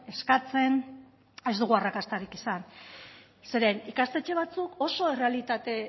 eskatzen ez dugu arrakastarik izan zeren ikastetxe batzuk oso errealitate